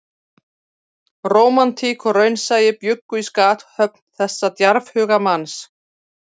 Rómantík og raunsæi bjuggu í skaphöfn þessa djarfhuga manns